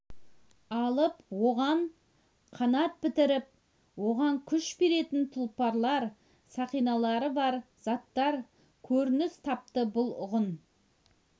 алып оған қанат бітіріп оған күш беретін тұлпарлар сақиналары бар заттар көрініс тапты бұл ғұн